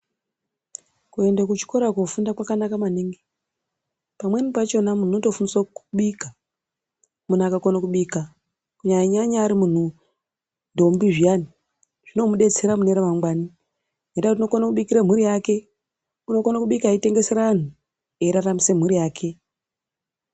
Kuende kuchikora koofunda kwakanaka maningi ngekuti pamweni pacho munhu unotofundiswa kubika. Munhu akakona kubika kunyanya nyanya ari ndombi zviyani zvinomudetsera mune ramangwani ngenyaya yekuti unokone kubikirwa mhuri yake. Unokone kubika echitengesera anhu eiraramise mhuri yake.